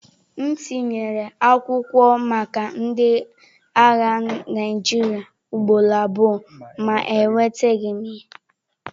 M tinyere akwụkwọ maka ndị agha Naịjirịa ugboro abụọ ma enwetaghị m ya.